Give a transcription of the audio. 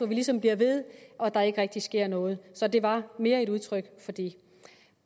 vi ligesom bliver ved og der ikke rigtig sker noget så det var mere et udtryk for det